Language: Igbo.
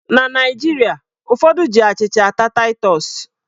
Na Naijiria, ụfọdụ ji achịcha ata taịtọs.